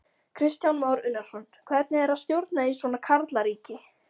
Kristján Már Unnarsson: Hvernig er að stjórna í svona karlaríki?